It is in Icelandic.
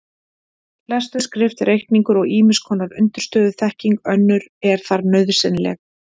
Lestur, skrift, reikningur og ýmiss konar undirstöðuþekking önnur er þar nauðsynleg.